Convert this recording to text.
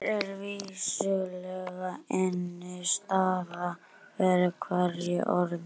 Hér er vissulega innistæða fyrir hverju orði.